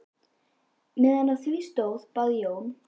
Meðan á því stóð bað Jón